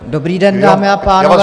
Dobrý den, dámy a pánové.